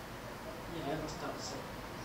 елена старцева